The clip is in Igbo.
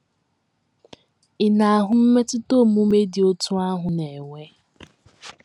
Ị̀ na - ahụ mmetụta omume dị otú ahụ na - enwe?